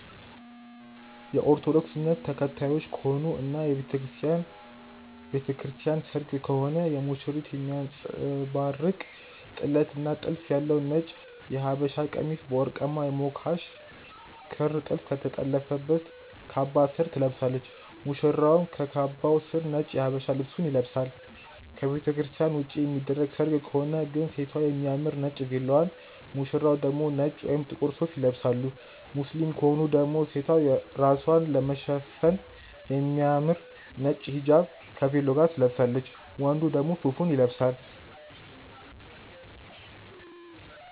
የኦርቶዶክስ እምነት ተከታዮች ከሆኑ እና የቤተክርስቲያን ቤተክርስቲያን ሰርግ ከሆነ ሙሽሪት የሚያንጸባርቅ ጥለት እና ጥልፍ ያለው ነጭ የሃበሻቀሚስ በወርቃማ የሞካሽ ክር ጥልፍ ከተጠለፈበት ካባ ስር ትለብሳለች፣ ሙሽራውም ከካባው ስር ነጭ የሃበሻ ልብሱን ይለብሳል። ከቤተክርስትያን ውጪ የሚደረግ ሰርግ ከሆነ ግን ሴቷ የሚያምር ነጭ ቬሎዋን፣ ሙሽራው ደግሞ ነጭ ወይም ጥቁር ሱፍ ይለብሳሉ። ሙስሊም ከሆኑ ደግሞ ሴቷ ራስዋን ለመሸፈን የሚያምር ነጭ ሂጃብ ከቬሎ ጋር ትለብሳለች፣ ወንዱም ሱፉን ይለብሳል።